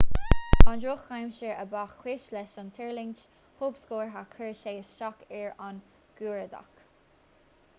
an drochaimsir a ba chúis leis an tuirlingt thobscortha chuir sé isteach ar an gcuardach